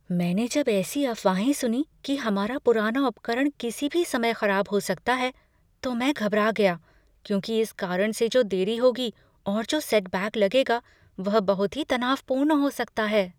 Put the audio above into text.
मैंने जब ऐसी अफवाहें सुनीं कि हमारा पुराना उपकरण किसी भी समय खराब हो सकता है तो मैं घबरा गया, क्योंकि इस कारण से जो देरी होगी और जो सेटबैक लगेगा वह बहुत ही तनावपूर्ण हो सकता है।